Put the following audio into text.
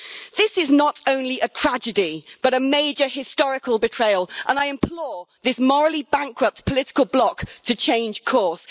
This is not only a tragedy but a major historical betrayal, and I implore this morally bankrupt political bloc to change course.